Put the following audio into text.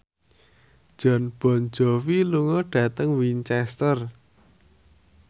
Jon Bon Jovi lunga dhateng Winchester